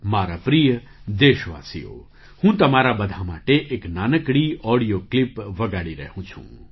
મારા પ્રિય દેશવાસીઓ હું તમારા બધાં માટે એક નાનકડી ઑડિયો ક્લિપ વગાડી રહ્યો છું